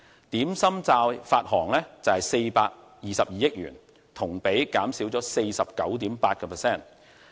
點心債發行量為422億元，同比減少 49.8%。